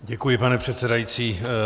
Děkuji, pane předsedající.